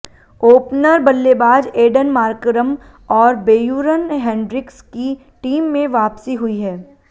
opener बल्लेबाज Aiden Markram और Beuran Hendricks की टीम में वापसी हुई है